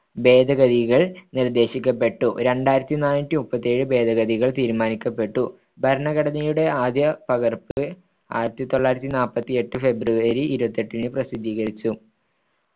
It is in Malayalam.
ഭേദഗതികൾ നിർദ്ദേശിക്കപ്പെട്ടു രണ്ടായിരത്തിനാനൂറ്റിമുപ്പത്തിഏഴ് ഭേദഗതികൾ തീരുമാനിക്കപ്പെട്ടു. ഭരണഘടനയുടെ ആദ്യപകർപ്പ്‌ ആയിരത്തിതൊള്ളായിരത്തിനാൽപത്തിയെട്ട് ഫെബ്രുവരി ഇരുപത്തിയെട്ടിന് പ്രസിദ്ധീകരിച്ചു